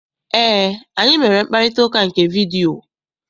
Eé, anyị mere mkparịtaụka nke vidiyio.